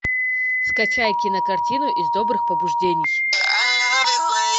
скачай кинокартину из добрых побуждений